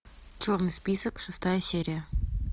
черный список шестая серия